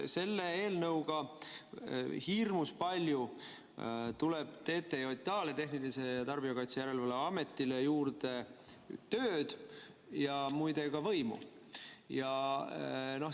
Selle eelnõuga tuleb TTJA-le, Tarbijakaitse ja Tehnilise Järelevalve Ametile juurde hirmus palju tööd ja muide ka võimu.